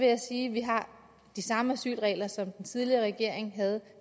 jeg sige at vi har de samme asylregler som den tidligere regering havde